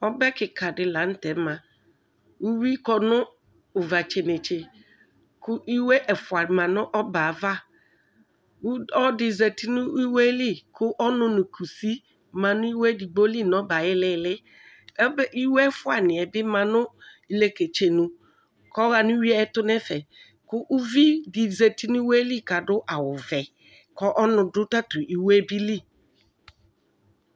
Alu ɛla dini lanu tɛ yanu ɛmɛedigbo adu ɛkɔtɔ, edigbo adu awuvɛatani azɛ gagba ɛfuaakagbɔ sika míku uwui nidu atami ɛtu